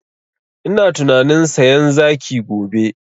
Ina tunanin sayan zaki gobe